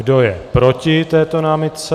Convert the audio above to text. Kdo je proti této námitce?